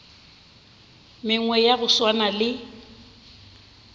mengwe ya go swana le